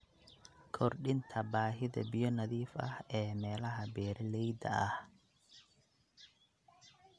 Kordhinta baahida biyo nadiif ah ee meelaha beeralayda ah.